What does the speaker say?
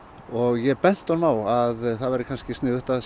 ég benti honum á að það væri kannski sniðugt að